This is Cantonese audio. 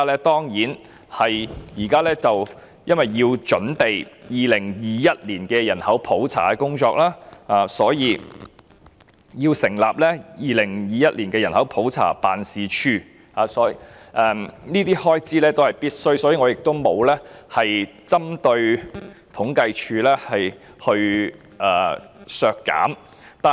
當然是因為現時要準備2021年的人口普查工作，所以要成立2021年人口普查辦事處，這些開支是必須的，故此我沒有針對統計處提出削減開支。